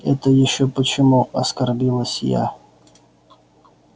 это ещё почему оскорбилась я